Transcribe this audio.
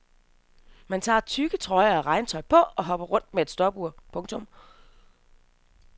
Man tager tykke trøjer og regntøj på og hopper rundt med et stopur. punktum